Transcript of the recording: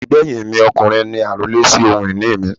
Àbígbẹ́yìn mi ọkùnrin ni àrólé sì ohun ìní mi.